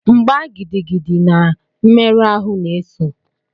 Mgba gidigidi na mmerụ ahụ na-eso.